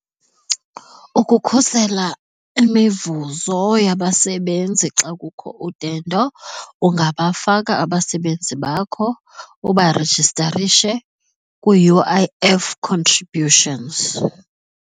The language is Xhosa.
Ukukhusela imivuzo yabasebenzi xa kukho udendo ungabafaka abasebenzi bakho ubarejistarishe kwii-U_I_F contributions.